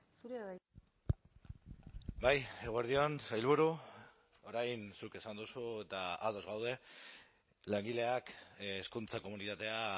zurea da hitza bai eguerdi on sailburu orain zuk esan duzu eta ados gaude langileak hezkuntza komunitatea